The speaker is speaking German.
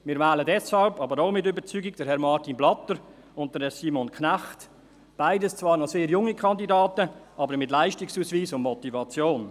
Wir wählen deshalb – aber auch mit Überzeugung – Herrn Martin Blatter und Herrn Simon Knecht, beides zwar noch sehr junge Kandidaten, aber mit Leistungsausweis und Motivation.